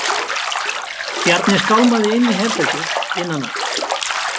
Bjarni skálmaði inn í herbergið innan af.